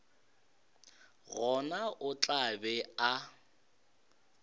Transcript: gona o tla be a